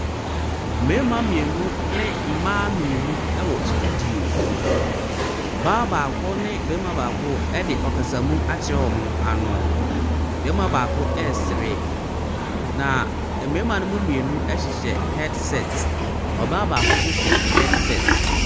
Mmɛɛma mmienu ne mmaa mmienu ɛwɔ studio. Ɔbaa baako ne bɛɛma baako ɛde ɔkasamuu akyerɛ ɔmo ano. Bɛɛma baako ɛɛsre na ɛmɛɛma ne mu mmienu ɛhyehyɛ hɛdsɛt. Ɔbaa baako so hyɛ hɛdsɛt.